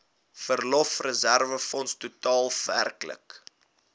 verlofreserwefonds totaal werklik